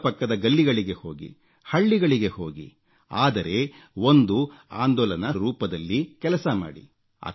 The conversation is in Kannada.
ಅಕ್ಕಪಕ್ಕದ ಗಲ್ಲಿಗಳಿಗೆ ಹೋಗಿ ಹಳ್ಳಿಗಳಿಗೆ ಹೋಗಿ ಆದರೆ ಒಂದು ಆಂದೋಲನದ ರೂಪದಲ್ಲಿ ಕೆಲಸ ಮಾಡಿ